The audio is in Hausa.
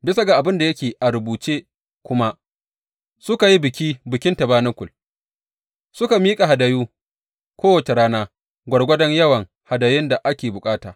Bisa ga abin da yake a rubuce kuma, suka yi biki Bikin Tabanakul, suka miƙa hadayu kowace rana gwargwadon yawan hadayun da ake bukata.